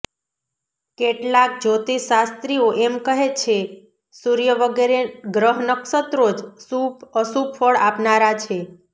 કેટલાંક જ્યોતિષશાસ્ત્રીઓ એમ કહે છે સૂર્ય વગેરે ગ્રહનક્ષત્રો જ શુભઅશુભ ફળ આપનારા છે